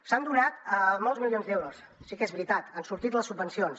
s’han donat molts milions d’euros sí que és veritat han sortit les subvencions